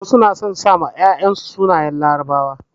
Wasu na son sa ma 'ya'yan su sunayen larabawa.